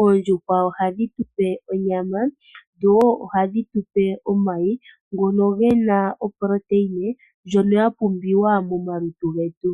oondjuhwa oha dhi tupe onyama dho wo oha dhi tupe omayi ngoka gena oproteyine ndjono ya pumbiwa momalutu getu.